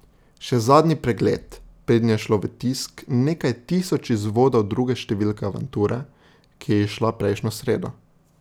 Še zadnji pregled, preden je šlo v tisk nekaj tisoč izvodov druge številke Avanture, ki je izšla prejšnjo sredo.